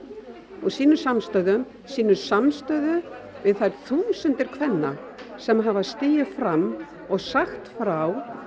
og sýnum samstöðu sýnum samstöðu við þær þúsundir kvenna sem hafa stigið fram og sagt frá